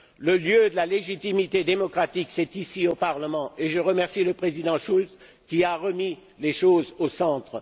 Le lieu de la légitimité démocratique est ici, au Parlement, et je remercie le président Schulz qui a remis les choses au centre.